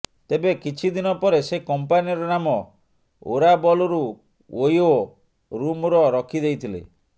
ତେବେ କିଛି ଦିନ ପରେ ସେ କମ୍ପାନୀର ନାମ ଓରାବଲରୁ ଓୟୋ ରୁମର ରଖିଦେଇଥିଲେ